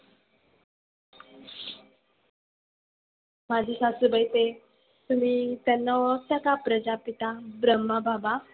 माझे सासुबाई ते तुम्ही त्यांना ओळखता का प्रजापिता ब्रम्हाबाबा.